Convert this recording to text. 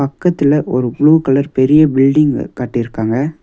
பக்கத்துல ஒரு blue colour பெரிய பில்டிங்கு கட்டிருக்காங்க.